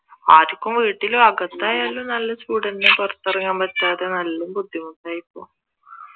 ആർക്കും വീട്ടിലും അകത്തായാലും നല്ല ചൂട് തന്നെ പുറത്തിറങ്ങാൻ പറ്റാതെ നല്ല ബുദ്ധിമുട്ടാ ഇപ്പൊ